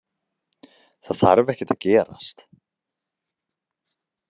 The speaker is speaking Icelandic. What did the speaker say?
Það þarf ekkert að gerast.